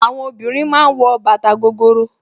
Àwọn obìnrin ma ń wọ bàtà gogoro